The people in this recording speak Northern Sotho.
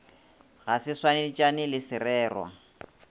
ga se swanetšane le sererwa